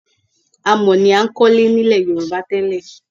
Amọ̀ ni a ń kọ́lé nílẹ̀ Yorùbá tẹ́lẹ̀